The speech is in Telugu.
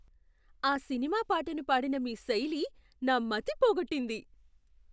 ఆ సినిమా పాటను పాడిన మీ శైలి నా మతి పోగొట్టింది.